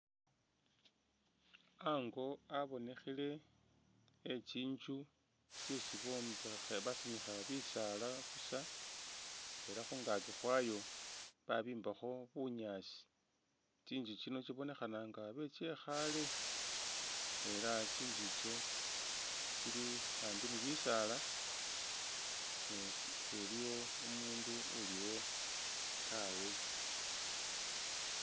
Ango abonekhile khetsinzu tsetsi basimikha bisaala busa ela khungakyi khwaayo babimbakho bunyaasi titsu tsino tsibonekhana nga intsu yekhale ela tsintsu tsili hambi ni bisaala ne tsiliwo umuundu uliwo taawe.